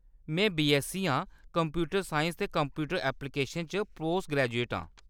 में बीऐस्ससी आं। Computer science ते कंप्यूटर ऐपलीकेशन च पोस्ट ग्रैजुएट आं।